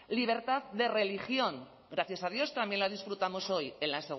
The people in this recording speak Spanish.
libertad de religión gracias a dios también la disfrutamos hoy en la